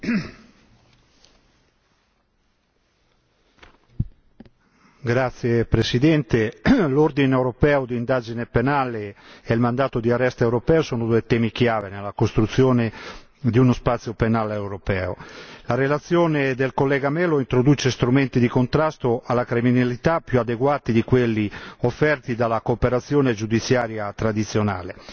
Signora Presidente, onorevoli colleghi, l'ordine europeo di indagine penale e il mandato di arresto europeo sono due temi chiave nella costruzione di uno spazio penale europeo. La relazione del collega Melo introduce strumenti di contrasto alla criminalità più adeguati di quelli offerti dalla cooperazione giudiziaria tradizionale.